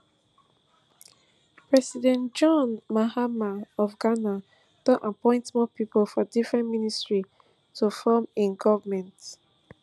president john mahama of ghana don appoint more pipo for different ministries to form im goment